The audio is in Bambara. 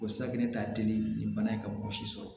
O safunɛ ta teli ni bana ye ka mɔgɔ si sɔrɔ